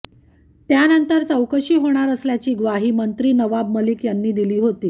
त्यानंतर चौकशी होणार असल्याची ग्वाही मंत्री नवाब मलिक यांनी दिली होती